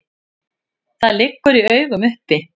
Það liggur í augum uppi.